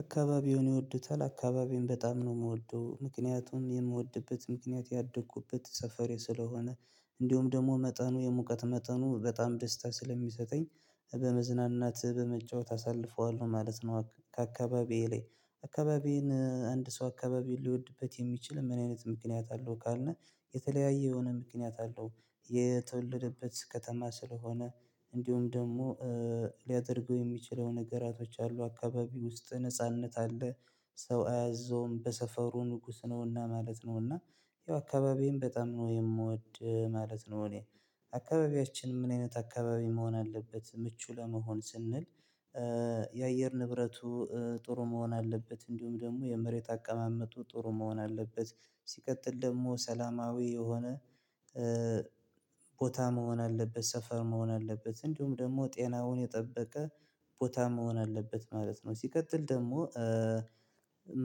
አካባቢውን ይወዱታል አካባቢውን በጣም ነው የምወደው ምክንያቱም የምወድበት ምክንያት ያደኩበት ሰፈሬ ስለሆነ እንዲሁም ደግሞ መጠኑ የሙቀት መጠኑ በጣም ደስታ ስለሚሰጠኝ በመዝናናት በመጫወት አሳልፈዋለሁ ማለት ነው። ከአካባቢዬ ላይ አካባቢዬን አንድ ሰው አካባቢ ሊወድበት የሚችል ምን አይነት ምክንያት አለው ካልነህ የተለያየ የሆነ ምክንያት አለው። የተወለደበት ከተማ ስለሆነ እንዲሁም ደግሞ ሊያደርገው የሚችለው ነገራቶች አሉ አካባቢ ውስጥ ነጻነት አለ ሰው አያዘውም በሰፈሩ ንጉስ ነውና ማለት ነውና። ያው አካባቢን በጣም ነው የምወድ ማለት ነው። እኔ አከባቢያችን ምን አይነት አካባቢ መሆን አለበት ምቹ ለመሆን ስንል? የአየር ንብረቱ ጥሩ መሆን አለበት እንዲሁም ደግሞ የመሬት አቀማመጡ ጥሩ መሆን አለበት። ሲቀጥል ደግሞ ሰላማዊ የሆነ ቦታ መሆን አለበት ሰፈር መሆን አለበት እንዲሁም ደግሞ ጤናውን የጠበቀ ቦታ መሆን አለበት ማለት ነው። ሲቀጥል ደግሞ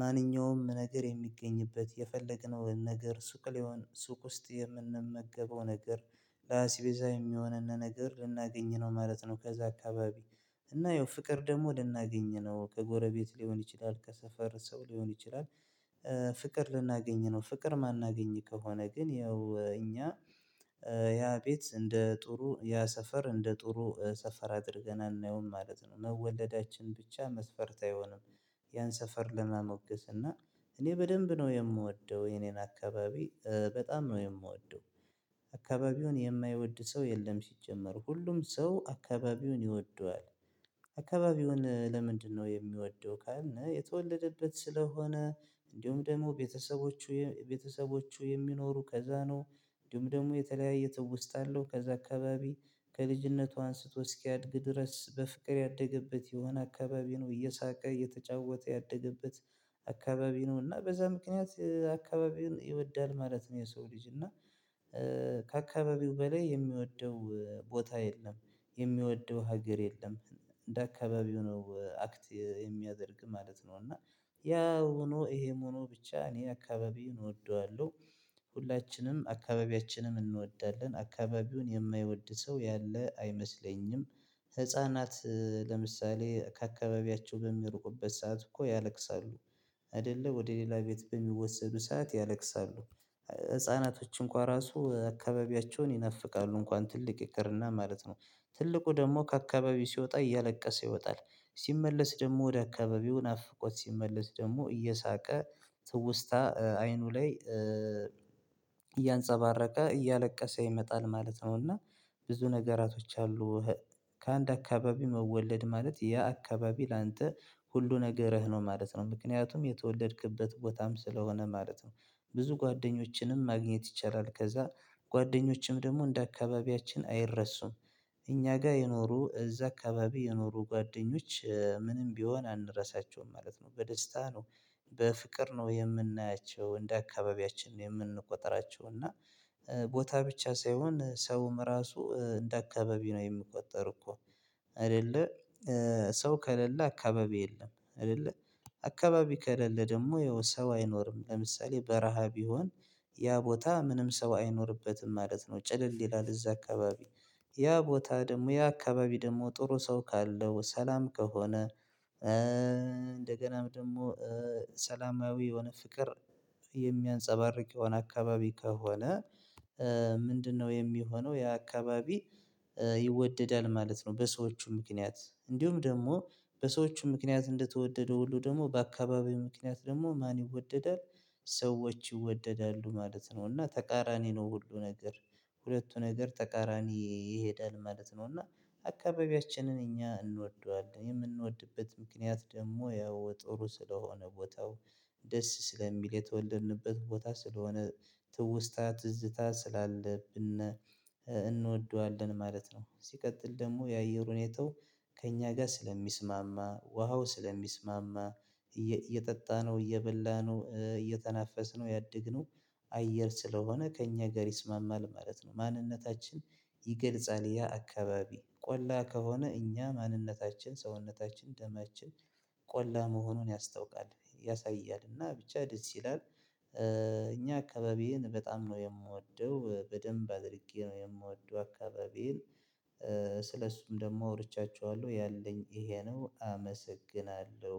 ማንኛውም ነገር የሚገኝበት የፈለግነው ነገር ሱቅ ላይሆን ሱቅ ውስጥ የምንመገበው ነገር አስቤዛ የሚሆንን ነገር ልናገኝ ነው ማለት ነው። ከዛ አከባቢ እና ያው ፍቅር ደግሞ ልናገኝ ነው ከጎረቤት ሊሆን ይችላል ከሰፈር ሰው ሊሆን ይችላል። ፍቅር ልናገኝ ነው ፍቅር ማናገኝ ከሆነ ግን ያው እኛ ያ ቤት እንደ ጥሩ ያ ሰፈር እንደ ጥሩ ሰፈር አድርገን አናየውም ማለት ነው። መወለዳችን ብቻ መስፈርት አይሆንም። ያን ሰፈር ለመሞገስ እና እኔ በደንብ ነው የምወደው የኔን አካባቢ በጣም ነው የምወደው። አካባቢውን የማይወድ ሰው የለም ሲጀመር ሁሉም ሰው አካባቢውን ይወደዋል። አካባቢውን ለምንድነው የሚወደው ካልን? የተወለደበት ስለሆነ እንዲሁም ደግሞ ቤተሰቦቹ ቤተሰቦቹ የሚኖሩ ከዛ ነው እንዲሁም ደግሞ የተለያየ ትውስታ አለው ከዛ አከባቢ ከልጅነቱ አንስቶ እስኪያድግ ድረስ በፍቅር ያደገበት የሆነ አካባቢ ነው እየሳቀ እየተጫወተ ያደገበት። አከባቢ ነው እና በዛ ምክንያት አከባቢውን ይወዳል ማለት ነው። የሰው ልጅ እና ከአከባቢው በላይ የሚወደው ቦታ የለም። የሚወደው ሀገር የለም። እንደ አከባቢው ነው አክት የሚያደርግ ማለት ነው። እና ያ ሆኖ ይሄም ኖህ ብቻ እኔ አከባቢውን እወደዋለሁ። ሁላችንም አካባቢያችንን እንወዳለን አከባቢውን የማይወድ ሰው ያለ አይመስለኝም። ህፃናት ለምሳሌ ከአከባቢያቸው በሚርቁበት ሰዓት እኮ ያለቅሳሉ። አይደለ ወደ ሌላ ቤት በሚወሰዱ ሰዓት ያለቅሳሉ። ህፃናቶች እንኳን ራሱ አከባቢያቸውን ይነፍቃሉ እንኳን ትልቅ ይቅርና ማለት ነው። ትልቁ ደግሞ ከአካባቢው ሲወጣ እያለቀሰ ይወጣል። ሲመለስ ደግሞ ወደ አካባቢው ናፍቆት ሲመለስ ደግሞ እየሳቀ ትውስታ አይኑ ላይ እያንፀባረቀ እያለቀሰ ይመጣል ማለት ነው። እና ብዙ ነገራቶች አሉ። ከአንድ አከባቢ መወለድ ማለት ያ አከባቢ ላንቴ ሁሉ ነገርህ ነው ማለት ነው ምክንያቱም የተወለድክበት ቦታም ስለሆነ ማለት ነው። ብዙ ጓደኞችንም ማግኘት ይቻላል ከዛ ጓደኞችም ደግሞ እንደ አከባቢያችን አይረሱም። እኛ ጋር የኖሩ እዛ አከባቢ የኖሩ ጓደኞች ምንም ቢሆን አንረሳቸውም ማለት ነው በደስታ ነው። በፍቅር ነው የምናያቸው እንደ አካባቢያችን ነው የምንቆጥራቸው እና። ቦታ ብቻ ሳይሆን ሰውም ራሱ እንደ አከባቢ ነው የምቆጠር እኮ። አይደለ ሰው ከሌለ አከባቢ የለም አይደለ። አከባቢ ከሌለ ደግሞ ያው ሰው አይኖርም ለምሳሌ በረሃ ቢሆን ያ ቦታ ምንም ሰው አይኖርበትም ማለት ነው። ጭልል ይላል እዛ አካባቢ ያ ቦታ ደግሞ ያ አከባቢ ደግሞ ጥሩ ሰው ካለው ሰላም ከሆነ። እንደገናም ደግሞ ሰላማዊ የሆነ ፍቅር የሚያንፀባርቅ የሆነ አከባቢ ከሆነ። ምንድነው የሚሆነው ያ አከባቢ? ይወደዳል ማለት ነው። በሰዎቹ ምክንያት እንዲሁም ደግሞ በሰዎቹ ምክንያት እንደተወደደ ሁሉ ደግሞ በአከባቢው ምክንያት ደግሞ ማን ይወደዳል? ሰዎች ይወደዳሉ ማለት ነው። እና ተቃራኒ ነው ሁሉ ነገር ሁለቱ ነገር ተቃራኒ ይሄዳል ማለት ነው። እና አከባቢያችንን እኛ እንወደዋለን የምንወድበት ምክንያት ደግሞ ያው ጥሩ ስለሆነ ቦታው ደስ ስለሚል የተወለድንበት ቦታ ስለሆነ። ትውስታ ትዝታ ስላለብን እንወደዋለን ማለት ነው። ሲቀጥል ደግሞ የአየር ሁኔታው ከእኛ ጋር ስለሚስማማ ውሃው ስለሚስማማ እየጠጣነው እየበላነው እየተናፈስነው ያድግነው። አየር ስለሆነ ከእኛ ጋር ይስማማል ማለት ነው። ማንነታችን ይገልጻል ያ አከባቢ ቆላ ከሆነ እኛ ማንነታችን ሰውነታችን ደማችን ቆላ መሆኑን ያስታውቃል ያሳያልና ብቻ ደስ ይላል። እኛ አከባቢዬን በጣም ነው የምወደው በደንብ አድርጌ ነው የምወደው አከባቢዬን። ስለሱም ደግሞ አውርቻችኋለሁ ያለኝ ይሄ ነው አመሰግናለሁ